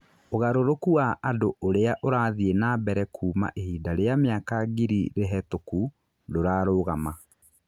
ũgarũrũku wa andũ ũrĩa ũrathiĩ nambere kuuma ihinda rĩa mĩaka ngirĩ rĩhetũku ndũrarũgama.